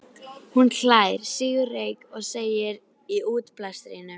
Hún hlær, sýgur reyk og segir í útblæstrinum